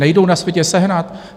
Nejdou na světě sehnat?